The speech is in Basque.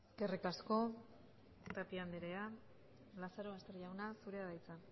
eskerrik asko tapia andrea lazarobaster jauna zurea da hitza